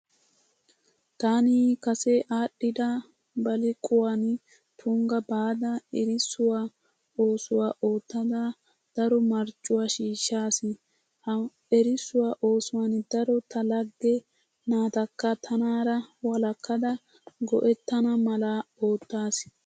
Taani kase aadhdhida baliqquwan tunggaa baada erissuwa oosuwa oottada daro mariccuwa shiishshaas. Ha erissuwa oosuwan daro ta lagge naatakka tanaara walakkada go'ettana mala oottaas.